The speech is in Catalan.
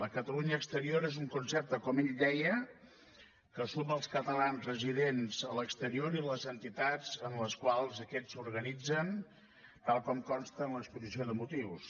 la catalunya exterior és un concepte com ell deia que suma els catalans residents a l’exterior i les entitats en les quals aquests s’organitzen tal com consta en l’exposició de motius